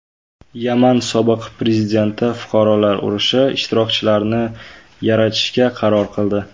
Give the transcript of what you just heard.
Yaman sobiq prezidenti fuqarolar urushi ishtirokchilarini yarashtirishga qaror qildi.